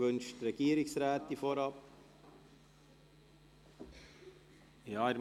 Wünscht die Regierungsrätin vorgängig das Wort?